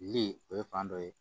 Lili o ye fan dɔ ye